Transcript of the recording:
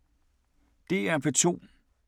DR P2